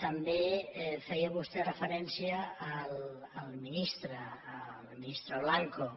també feia vostè referència al ministre al ministre blanco